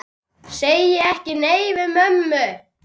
Segir ekki nei við mömmu!